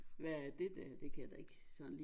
Hvad er det der det kan jeg da ikke sådan lige